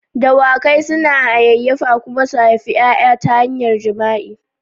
Dawakai suna hayayyafa kuma su haifi ƴaƴa ta hanyar jima'i.